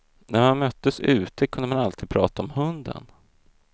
När man möttes ute kunde man alltid prata om hunden.